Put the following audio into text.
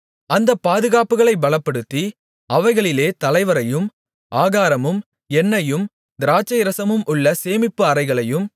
அந்தப் பாதுகாப்புகளைப் பலப்படுத்தி அவைகளிலே தலைவரையும் ஆகாரமும் எண்ணெயும் திராட்சைரசமும் உள்ள சேமிப்பு அறைகளையும்